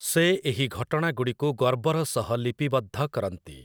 ସେ ଏହି ଘଟଣାଗୁଡ଼ିକୁ ଗର୍ବର ସହ ଲିପିବଦ୍ଧ କରନ୍ତି ।